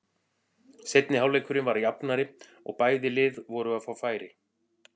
Seinni hálfleikurinn var jafnari og bæði lið voru að fá færi.